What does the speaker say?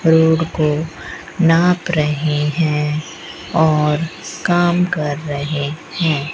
Road को नाप रहे हैं और काम कर रहे हैं।